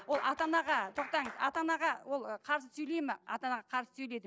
ол ата анаға тоқтаңыз ата анаға ол ы қарсы сөйлейді ме ата анаға қарсы сөйлейді